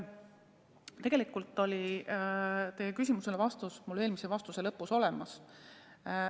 Tegelikult oli vastus teie küsimusele minu eelmise vastuse lõpus olemas.